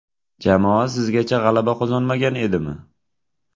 Jamoa sizgacha g‘alaba qozonmagan edimi?